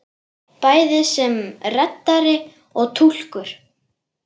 Bæði sem reddari og túlkur!